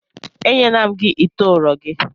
Enyela m gị ite ụrọ gị!